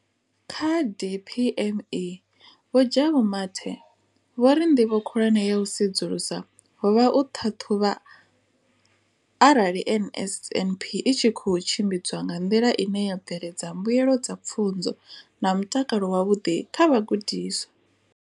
Kha DPME, Vho Jabu Mathe, vho ri nḓivho khulwane ya u sedzulusa ho vha u ṱhaṱhuvha arali NSNP i tshi khou tshimbidzwa nga nḓila ine ya bveledza mbuelo dza pfunzo na mutakalo wavhuḓi kha vhagudiswa.